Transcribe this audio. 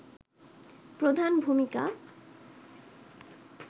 প্রধান ভূমিকা